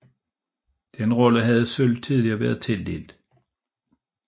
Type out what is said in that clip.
Den rolle havde sølv tidligere været tildelt